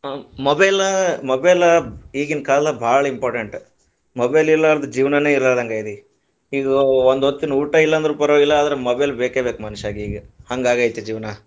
ಹ್ಮ್, mobile, mobile ಈಗಿನ ಕಾಲದಾಗ ಬಾಳ important, mobile ಇರಲಾರದ ಜೀವನಾನೆ ಇರಲಾರದಂಗೈತಿ, ಇಗ ಒ~ ಒಂದ ಹೊತ್ತಿನ ಊಟಾ ಇಲ್ಲಾಂದ್ರೂ ಪರವಾಗಿಲ್ಲಾ ಅದ್ರ mobile ಬೇಕೆ ಬೇಕ ಮನುಷ್ಯಗೀಗ ಹಂಗ ಆಗೈತಿ ಜೀವನಾ.